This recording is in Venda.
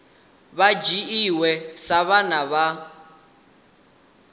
vha dzhiwa sa vhana vha